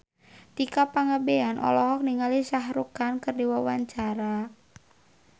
Tika Pangabean olohok ningali Shah Rukh Khan keur diwawancara